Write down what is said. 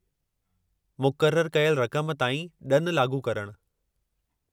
मुक़ररु कयल रक़म ताईं ॾनु लाॻू करणु।